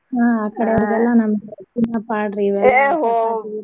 ಹಾ ಅ ಕಡೆಯೋರ್ಗ ಎಲ್ಲಾ ನಮ್ .